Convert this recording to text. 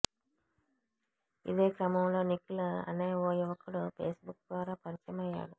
ఇదే క్రమంలో నిఖిల్ అనే ఓ యువకుడు ఫేస్బుక్ ద్వారా పరిచయమయ్యాడు